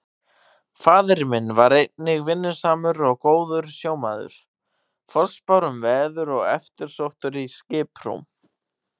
Faðir minn var einnig vinnusamur og góður sjómaður, forspár um veður og eftirsóttur í skiprúm.